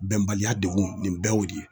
Bɛnbaliya degun nin bɛɛ y'o de ye.